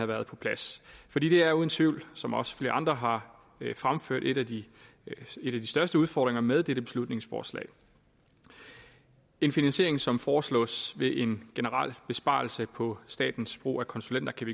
været på plads fordi det er uden tvivl som også flere andre har fremført en af de største udfordringer med dette beslutningsforslag en finansiering som foreslås ved en generel besparelse på statens brug af konsulenter kan